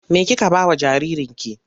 Me kike ba wa jaririnki?